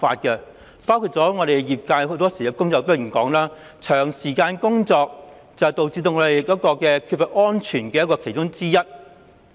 舉例來說，業界工友經常指出，長時間工作是影響作業安全的原因之一。